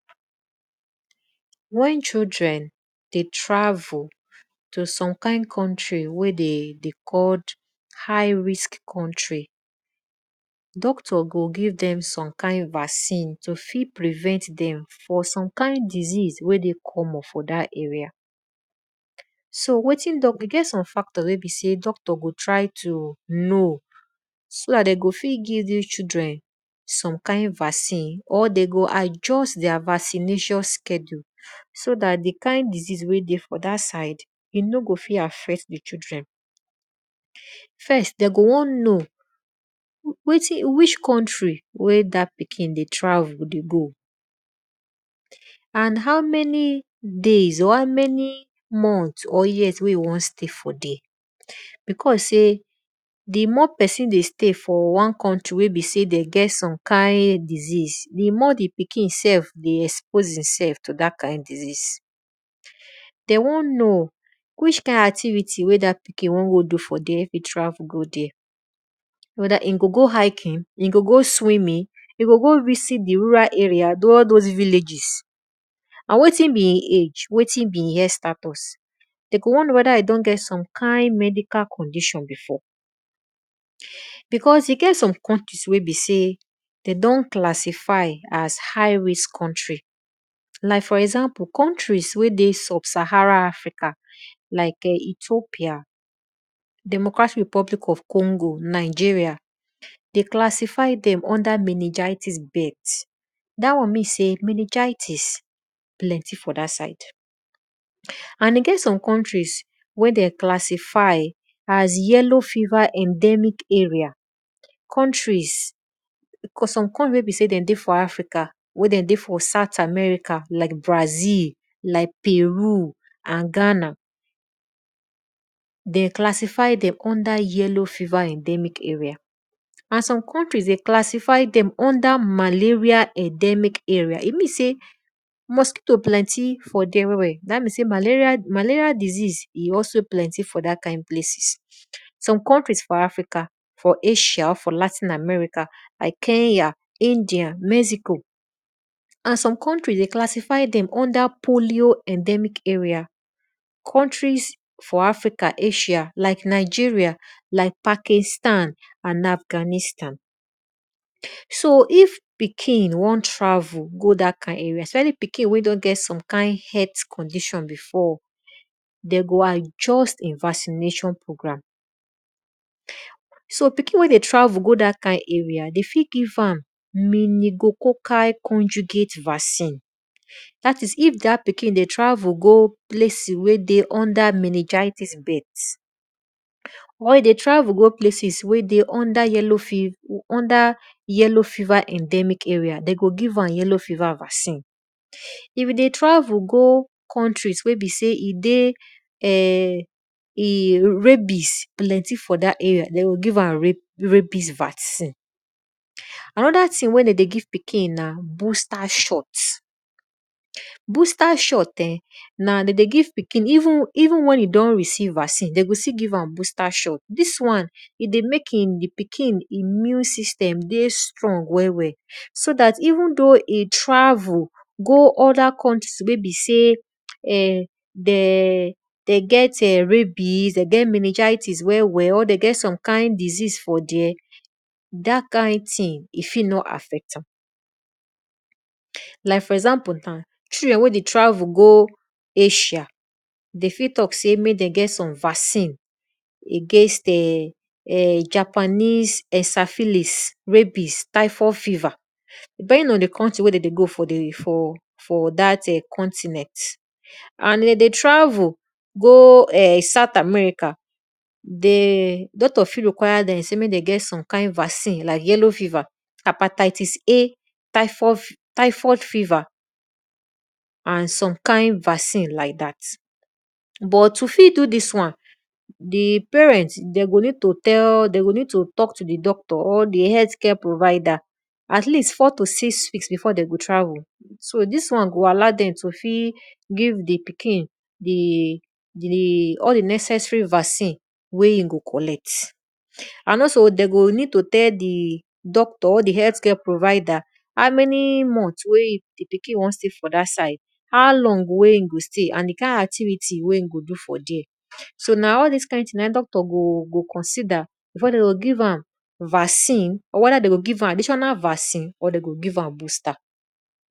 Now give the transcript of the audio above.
Wen children dey travel to some kind countr wen dey dey call high risk country, doctor go give dem bta vaccine to fit prevent dem from some kind disease wey dey common for dat area. So wetin e get some factor wen de need to know so dat de fit give dis children vaccine or de go adjust their vaccination schedule so dat di kind disease wey dey for dat side e no go fit affect di children. First de go won know which country wey dat pikin dey travel dey go how many days and how many month wey e won stay for there.because sey di more pesin dey stay for one country wey get one kind disease, di more pikin dey expose e sef to dat disease. de won know which kind activity wey da pikin won go do if e travel go do fir there weda go go hicking, e go go swimming, e go go visit d rural areaall those villages, and wetin be e age, wetin be e health status, den go won know weda e get medical condition before because e get some countries wen be sey de don classify as high risk country like for example, countries wey dey sub- sahara African like[um]ethopia, democratic republic on congo, de classify dem under minigitis birth.dat won mean swy minigaitis dey there and e get some countries wen dem classify as yellow fever endemic area some countries wen be sey den ey for African, den dey for countries like brazil, peru, and Ghana. Den classify dem under yellow fever endemic area. And some countried, dem classify dem under makleria endemic area. E means sey mosquito plenty for thwre well welml dat mean sey malerial disease dat won plenty for there. Some countries for Africa like asia, latin American, like Kenya, india, mexico, and some countries, dem classify dem under polio endemic area. Countries for African like Nigeria, like poakistan, and Afghanistan.so id pikin won travel go dat area especially pikin wey don get health condition problem before, de go adjust vaccination program. So pikin wey dey travel go dat kind area, de fit give am minigococcal conjugate vaccine dat is if dat pesin dey travel go places wey besey dey under minigitis birth, or e dey tavel go plac wey dey under yellow fever endemic area, de go give m yellow fever vaccine. If you dey tavel go countries wey be sey rabbis plenty for dat area, de o give am rabbis vaccine. Anoda thing wen de dey give pikin na booster shot. Boostr shot na even wen e don reieve vaccine, de de give am booster shot dis wan e dey mek di pikin immune system strong well well. So dat even wen e travel e go some othr countries wy get minigitis, or de goet rabbis or den get some kind disease for there, like for example children wey dey travel go asia de fit talk sy mek de get[um]vaccine agains[um]Japanese syphilis typhod fever.depending on di country wey de dey go for for dat continent. and de de travel go some kind place, doctor fit require dem to get some vaccine like yellow fever, hetisisA, typhod fever, and some kind vaccine like dat. But to fit do all dis one, di parent go need to tlk to di parent or di health care provider, at least four to six weeks before de go travel, so dis won go allow dem to give di pikin all di necessary vaccine wey e go collect and also de go need to tell di doctor and di health or di heaklth care provider how man month di pikin won stay fo dat side, how long wey e go stay and di kind activity wey di pikin go do for there so na all dis thing na in doctor go consider before de go give am vaccine or weda de go give am additional vacin or de go give am booster.